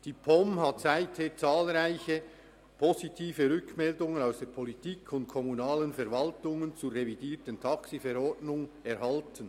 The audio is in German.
Die POM hat seither zahlreiche positive Rückmeldungen aus der Politik und von kommunalen Verwaltungen zur revidierten TaxiV erhalten.